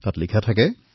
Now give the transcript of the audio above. তাত লিখা থাকে